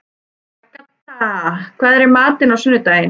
Agatha, hvað er í matinn á sunnudaginn?